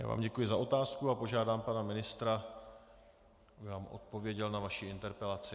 Já vám děkuji za otázky a požádám pana ministra, aby vám odpověděl na vaši interpelaci.